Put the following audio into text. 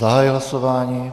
Zahajuji hlasování.